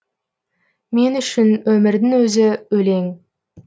мен үшін өмірдің өзі өлең